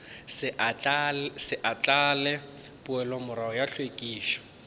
se ahlaahle poelomorago ya hlwekišo